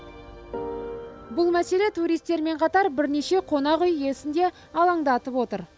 бұл мәселе туристермен қатар бірнеше қонақүй иесін де алаңдатып отыр